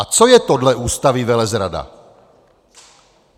A co je podle Ústavy velezrada?